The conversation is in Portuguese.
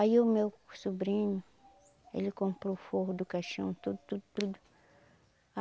Aí o meu sobrinho, ele comprou o forro do caixão, tudo, tudo, tudo.